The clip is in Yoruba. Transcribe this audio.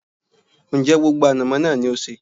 Ń jẹ́ gbogbo ànàmọ́ náà ni ó sé?